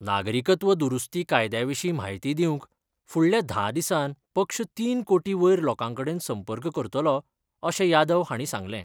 नागरिकत्व दुरुस्ती कायद्याविशी म्हायती दिवंक फुडल्या धा दिसांन पक्ष तीन कोटी वयर लोकांकडेन संपर्क करतलो, अशे यादव हाणी सांगले.